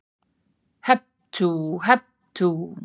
HEP TÚ, HEP TÚ